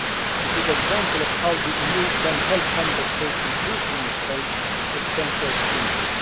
A good example of how the EU can help Member States improve women's health is cancer screening.